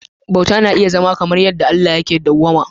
Bautawa na iya zama kamar yadda Allahntaka yanayin Allah; dawwama